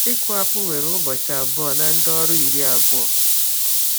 Ịkụ akpụ were ụbọchị abụọ na ndị ọrụ iri abụọ.